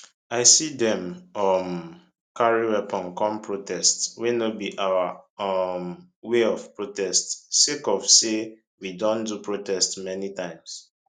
i see dem um carry weapon come protest wey no be our um way of protest sake of say we don do protest many times